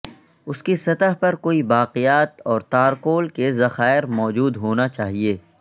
اس کی سطح پر کوئی باقیات اور تارکول کے ذخائر موجود ہونا چاہئے